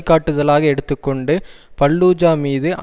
காட்டுதலாக எடுத்து கொண்டு பல்லூஜா மீது